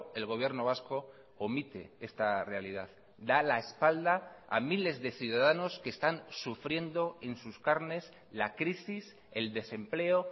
el gobierno vasco omite esta realidad da la espalda a miles de ciudadanos que están sufriendo en sus carnes la crisis el desempleo